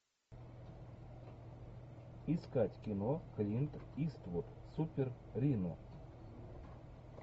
искать кино клинт иствуд супер рино